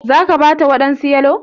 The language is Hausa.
za ka/ki Bata wadansu yalo?